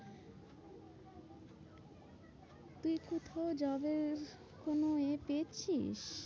তুই কোথাও job এর কোনো এ পেয়েছিস?